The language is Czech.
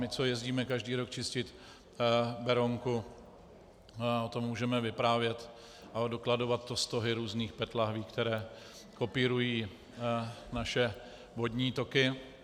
My, co jezdíme každý rok čistit Berounku, o tom můžeme vyprávět a dokladovat to stohy různých PET lahví, které kopírují naše vodní toky.